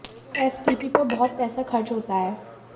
S T P पर बहुत पैसा खर्च होता है